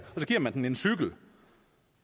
så giver man den en cykel